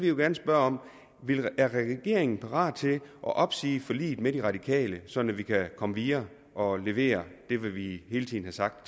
jo gerne spørge om regeringen er parat til at opsige forliget med de radikale sådan at vi kan komme videre og levere det vi hele tiden har sagt